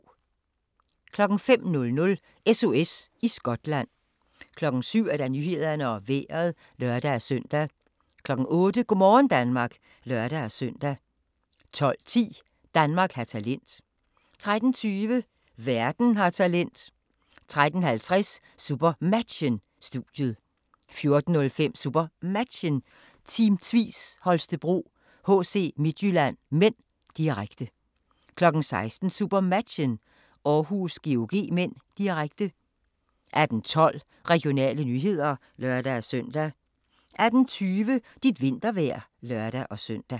05:00: SOS i Skotland 07:00: Nyhederne og Vejret (lør-søn) 08:00: Go' morgen Danmark (lør-søn) 12:10: Danmark har talent 13:20: Verden har talent 13:50: SuperMatchen: Studiet 14:05: SuperMatchen: Team Tvis Holstebro-HC Midtjylland (m), direkte 16:00: SuperMatchen: Århus-GOG (m), direkte 18:12: Regionale nyheder (lør-søn) 18:20: Dit vintervejr (lør-søn)